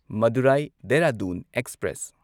Madurai Dehradun express